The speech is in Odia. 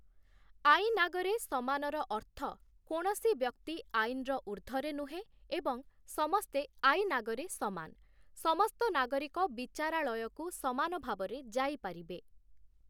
ଆଇନ୍ ଆଗରେ ସମାନର ଅର୍ଥ କୌଣସି ବ୍ୟକ୍ତି ଆଇନ୍‌ର ଉର୍ଦ୍ଧ୍ୱରେ ନୁହଁ ଏବଂ ସମସ୍ତେ ଆଇନ୍‌ ଆଗରେ ସମାନ । ସମସ୍ତ ନାଗରିକ ବିଚାରାଳୟକୁ ସମାନ ଭାବରେ ଯାଇପାରିବେ ।